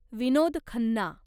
Vinod Khanna